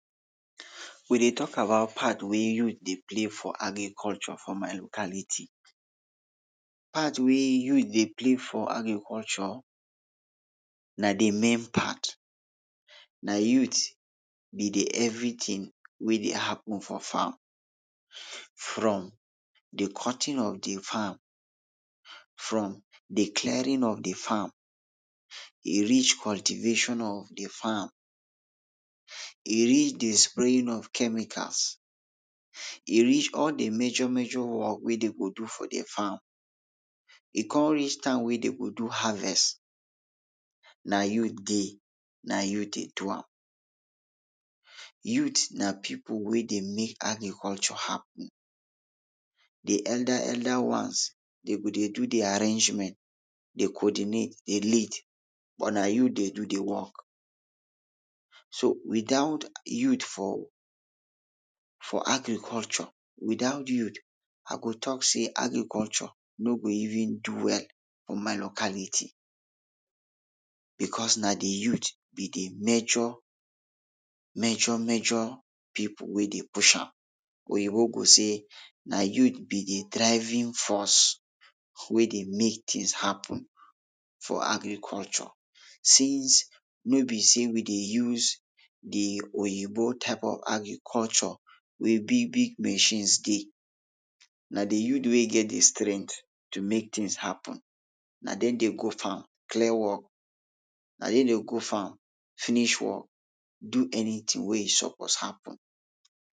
We dey talk about part wey youth dey play for agriculture for my locality. Part wey youth dey play for agriculture na de main part. Na youth be de everytin wey dey happen for farm. From dey cutting of de farm, from dey clearing of de farm, e reach cultivation of de farm, e reach dey spraying of chemicals, e reach all de major major work wey dey go do for de farm, e kon reach time wey dey go do harvest, na youth dey, na youth dey do am. Youth na pipul wey dey make agriculture happen. De elder elder ones den go dey do de arrangement, dey coordinate, dey lead but na youth dey do dey work. So without youth for, for agriculture, without youth, ah go talk say agriculture no go even do well for my locality. Because na de youth be de major, major, major pipul, wey dey push am. Oyibo go say “na youth be dey driving force wey dey make tins happen for agriculture.” Since no be sey we dey use de Oyibo type of agriculture wey big, big, machines dey. Na de youth wey get dey strength to make tins happen, na dem dey go farm clear work, na dem dey go farm finish work, do anytin wey e suppose happen.